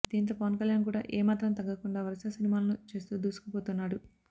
దీంతో పవన్ కళ్యాణ్ కూడా ఏ మాత్రం తగ్గకుండా వరుస సినిమాలను చేస్తూ దూసుకు పోతున్నాడు